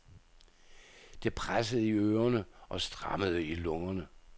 Det pressede i ørerne og strammede i lungerne.